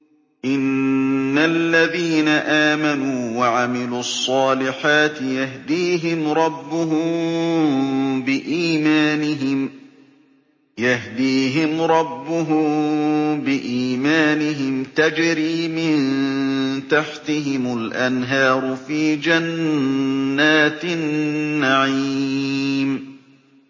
إِنَّ الَّذِينَ آمَنُوا وَعَمِلُوا الصَّالِحَاتِ يَهْدِيهِمْ رَبُّهُم بِإِيمَانِهِمْ ۖ تَجْرِي مِن تَحْتِهِمُ الْأَنْهَارُ فِي جَنَّاتِ النَّعِيمِ